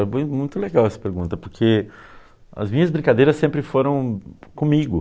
muito legal essa pergunta, porque as minhas brincadeiras sempre foram comigo.